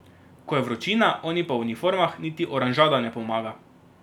Ko je vročina, oni pa v uniformah, niti oranžada ne pomaga.